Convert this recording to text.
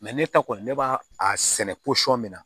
ne ta kɔni ne b'a a sɛnɛ posɔn min na